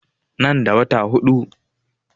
Nan da wata huɗu